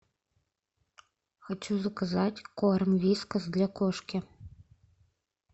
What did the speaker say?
хочу заказать корм вискас для кошки